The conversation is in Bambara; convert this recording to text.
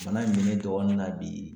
Bana in mɛ ne dɔgɔnin na bi